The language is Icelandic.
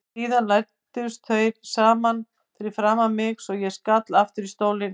Síðan læstust þeir saman fyrir framan mig svo ég skall aftur í stólinn.